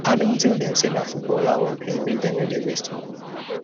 i don tell dem say na football i wan play make dem no dey waste moni